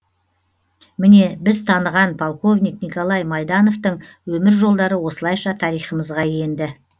міне біз таныған полковник николай майдановтың өмір жолдары осылайша тарихымызға енді